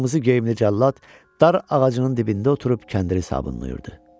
Qırmızı geyimli cəllad dar ağacının dibində oturub kəndiri sabunlayırdı.